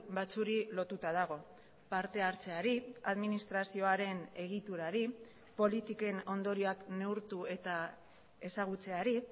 batzuei lotuta dago partehartzeari administrazioaren egiturari politiken ondorioak neurtu eta ezagutzeari